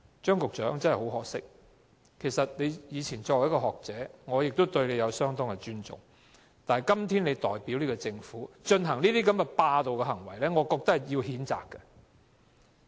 張局長，很可惜，你以前是學者，我對你相當尊重，但今天你代表政府進行霸道行為，我認為需要譴責。